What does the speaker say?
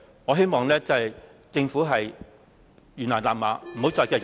我希望政府懸崖勒馬......